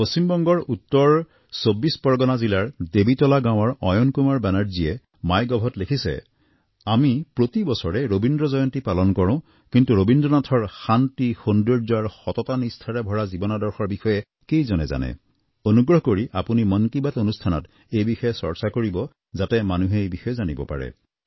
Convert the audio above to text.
পশ্চিম বংগৰ উত্তৰ চৌবিশ পৰগণা জিলাৰ দেৱীতোলা গাঁৱৰ অয়ন কুমাৰ বেনাৰ্জীয়ে মাই গভত লিখিছে আমি প্ৰতি বছৰে ৰবীন্দ্ৰ জয়ন্তী পালন কৰোঁ কিন্তু ৰবীন্দ্ৰ নাথৰ শান্তি সৌন্দৰ্য আৰু সততানিষ্ঠাৰে ভৰা জীৱনৰ আদৰ্শৰ বিষয়ে কেইজনে জানে অনুগ্ৰহ কৰি আপুনি মন কী বাত অনুষ্ঠানত এই বিষয়ে চৰ্চা কৰিব যাতে মানুহে এই বিষয়ে জানিব পাৰে